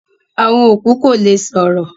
Awọn okú kò lè sọ̀rọ̀